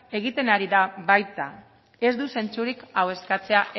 egiten ari da baita ez du zentzurik hau eskatzea